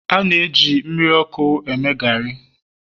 a na-eji mmiri ọkụ eme gari